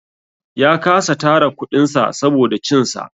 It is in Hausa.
Ya kasa tara kuɗin sa saboda cin sa.